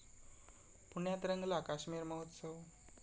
पुण्यात रंगला काश्मीर महोत्सव